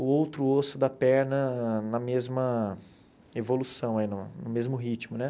o outro osso da perna na mesma evolução, e no mesmo ritmo, né?